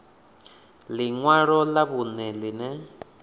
ḽi ṅwalo ḽa vhuṋe ḽine